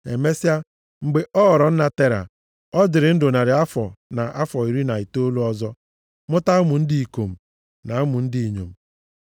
Emesịa, mgbe ọ ghọrọ nna Tera, ọ dịrị ndụ narị afọ na afọ iri na itoolu ọzọ, mụta ụmụ ndị ikom na ụmụ ndị inyom.